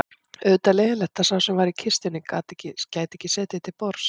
Auðvitað leiðinlegt að sá sem var í kistunni gæti ekki setið til borðs